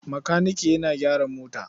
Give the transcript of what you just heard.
Makanike yana gyara mota.